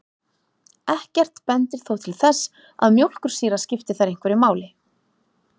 Ekkert bendir þó til þess að mjólkursýra skipti þar einhverju máli.